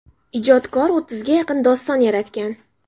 Ijodkor o‘ttizga yaqin doston yaratgan.